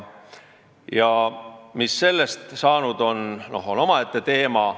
See, mis sellest saanud on, on omaette teema.